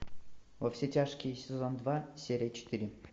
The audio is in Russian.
во все тяжкие сезон два серия четыре